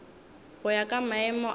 go ya ka maemo a